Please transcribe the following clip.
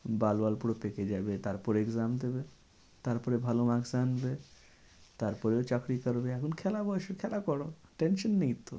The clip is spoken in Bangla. পুরো পেকে যাবে তারপরে exam দেবে। তারপরে ভালো maks আনবে তারপরেও চাকরি করবে এখন খেলার বয়েসে খেলা করো tension নেই তো।